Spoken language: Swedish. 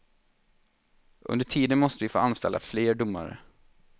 Under tiden måste vi få anställa fler domare.